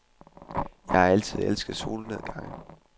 Jeg har altid elsket solnedgange.